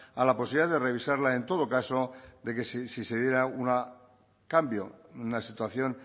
a la posibilidad de revisarla en todo caso de que si se diera un cambio una situación